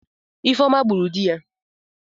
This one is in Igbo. Ifeoma gburu di ya.